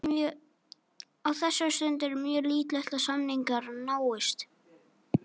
Á þessari stundu er mjög líklegt að samningar náist.